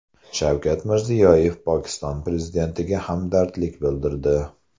Shavkat Mirziyoyev Pokiston prezidentiga hamdardlik bildirdi.